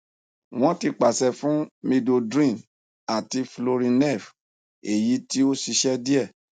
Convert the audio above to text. wọn ti pàṣẹ fún midodrine àti florinef èyí tí ó ṣiṣẹ díẹ